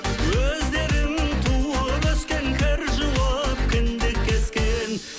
өздерің туып өскен кір жуып кіндік кескен